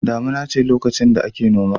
Damuna ce lokacin da ake noma.